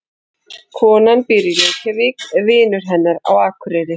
Konan býr í Reykjavík. Vinur hennar býr á Akureyri.